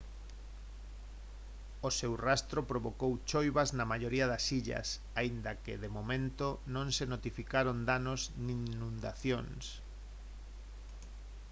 o seu rastro provocou choivas na maioría das illas aínda que de momento non se notificaron danos nin inundacións